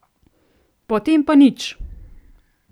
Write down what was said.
Potem pa nič!